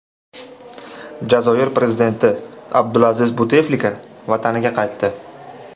Jazoir prezidenti Abdulaziz Buteflika vataniga qaytdi.